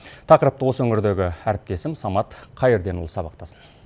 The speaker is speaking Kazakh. тақырыпты осы өңірдегі әріптесім самат қайырденұлы сабақтасын